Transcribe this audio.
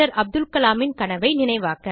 அப்துல் கலாமின் கனவை நினைவாக்க